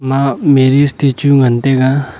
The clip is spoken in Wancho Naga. ma Mary statue ngan taiga.